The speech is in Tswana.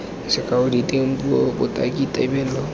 sekao diteng puo botaki tebelo